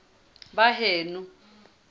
baheno